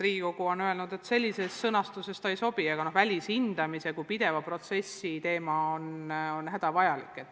Riigikogu on öelnud, et sellises sõnastuses see ei sobi, aga välishindamise kui pideva protsessi teema on hädavajalik.